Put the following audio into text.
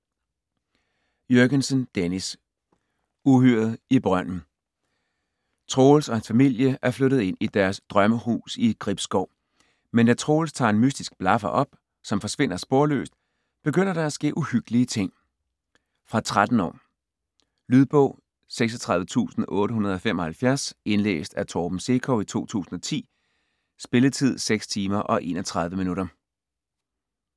Jürgensen, Dennis: Uhyret i brønden Troels og hans familie er flyttet ind i deres drømmehus i Gribskov. Men da Troels tager en mystisk blaffer op, som forsvinder sporløst, begynder der at ske uhyggelige ting. Fra 13 år. Lydbog 36875 Indlæst af Torben Sekov, 2010. Spilletid: 6 timer, 31 minutter.